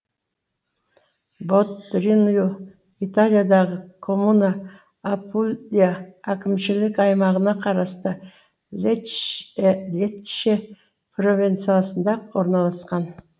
ботруньо италиядағы коммуна апулия әкімшілік аймағына қарасты лечче провинциясында орналасқан